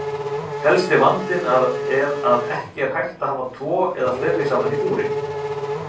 Helsti vandinn er að ekki er hægt að hafa tvo eða fleiri saman í búri.